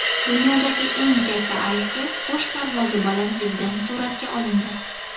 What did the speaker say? Dunyodagi eng katta aysberg qush parvozi balandligidan suratga olindi.